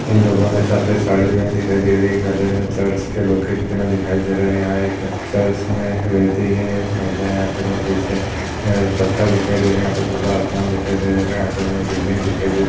इन लोगो ने सफ़ेद साड़ी पहने दिखाई दे रही है गले मे चर्च के लॉकेट पहने दिखाई दे रहे हैं। यहाँ एक चर्च में रह्ती हैं महिलाये यहाँ पर हमे पीछे पत्थर दिखाई दे रहे हैं यहाँ खुला आसमान दिखाई दे रहे हैं यहाँ पर हमें बिल्डिंग दिखाई दे रही --